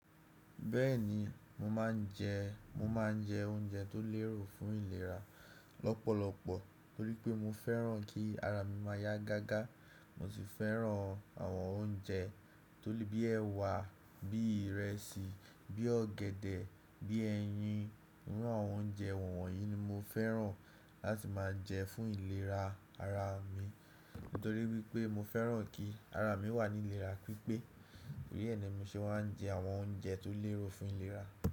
Bẹ́ẹ̀ni, mo máà ń jẹ mo máa ń jẹ oúnjẹ tó lérò fún ìlera lọ́pọ̀lọpọ̀ torí pé mo fẹ́ràn kí ara mi máa yá gágá. Mo sì fẹ́ràn àwọn oúnjẹ tó lè bí ẹwà, bí ìrẹsì, bí ọ̀gẹ̀dẹ̀, bí ẹyin. Irú àwọn oúnjẹ wọ̀nyí ni mo fẹ́ràn láti máa jẹ fún ìlera ara mi nítorí wípé mo fẹ́ràn kí ara mi wà ní ìlera pípé. Tórí ẹ ni mi ṣe wà ń jẹ àwọn oúnjẹ tó lérò fún ìlera.